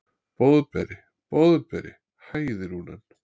Boðberi, Boðberi, hæðir hún hann.